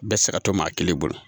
Bɛɛ saga to maa kelen bolo